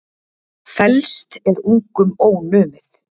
Felst er ungum ónumið.